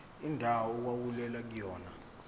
indawo okwakulwelwa kuyona